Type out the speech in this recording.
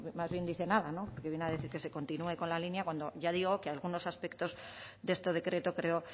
mucho más bien dice nada viene a decir que se continúe con la línea cuando ya digo que algunos aspectos de este decreto creo